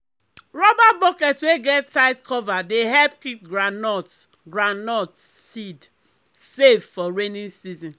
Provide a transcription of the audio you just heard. rubber bucket wey get tight cover dey help keep groundnut groundnut seed safe for rainy season.